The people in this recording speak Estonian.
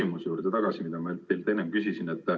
Ma tulen tagasi oma küsimuse juurde, mida teilt enne küsisin.